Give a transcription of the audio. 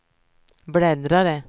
bläddrare